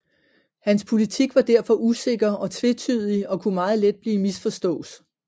Hans politik var derfor usikker og tvetydig og kunne meget let blive misforstås